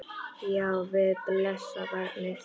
Já, við blessað barnið!